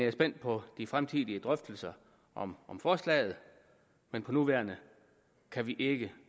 er spændt på de fremtidige drøftelser om om forslaget men for nuværende kan vi ikke